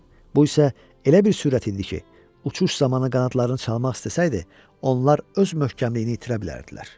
Bu isə elə bir sürət idi ki, uçuş zamanı qanadlarını çalmaq istəsəydi, onlar öz möhkəmliyini itirə bilərdilər.